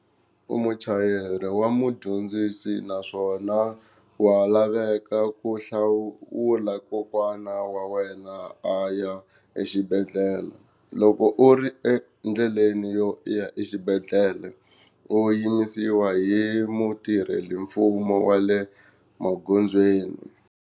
U muchayeri wa mudyondzisi naswona wa laveka ku hlawula kokwana wa wena a ya exibedhlele, loko u ri endleleni yo ya exibedhlele u yimisiwa hi mutirhela mfumo wa le magondzweni.